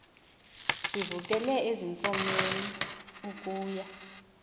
sivukele ezinkomeni ukuya